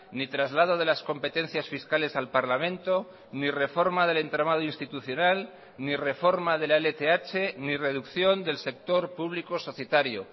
ni traslado de las competencias fiscales al parlamento ni reforma del entramado institucional ni reforma de la lth ni reducción del sector público societario